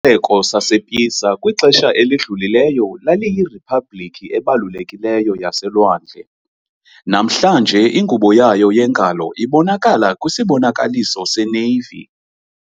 Isixeko sasePisa kwixesha elidlulileyo laliyiriphabliki ebalulekileyo yaselwandle - namhlanje ingubo yayo yengalo ibonakala kwisibonakaliso seNavy.